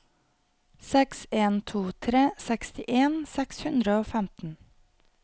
seks en to tre sekstien seks hundre og femten